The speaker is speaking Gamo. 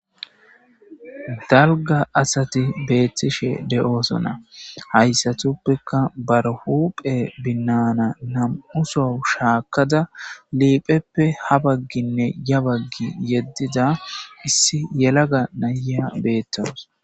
dalga asati beettishe de7osona hayssatuppeka barahuphe binnana nam7u so shaakada liipheppe ha bagginne ya baggi yeddida issi yelaga naya beettaus